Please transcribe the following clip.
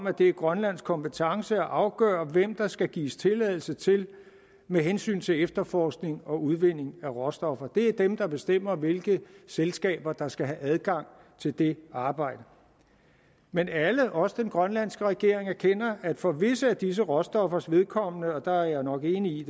at det er grønlands kompetence at afgøre hvem der skal gives tilladelse til med hensyn til efterforskning og udvinding af råstoffer det er dem der bestemmer hvilke selskaber der skal have adgang til det arbejde men alle også den grønlandske regering erkender at for visse af disse råstoffers vedkommende og der er jeg nok enig i